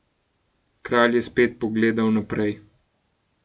Kralj je spet pogledal naprej.